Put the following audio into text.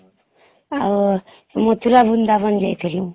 ଆଉ ମଥୁରା ବୃନ୍ଦାବନ ଯାଇଥିଲୁ